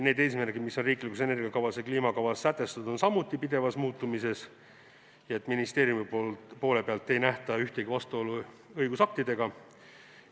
Need eesmärgid, mis on riiklikus energia- ja kliimakavas sätestatud, on samuti pidevas muutumises, ning ministeeriumi poole pealt ei nähta ühtegi vastuolu õigusaktidega.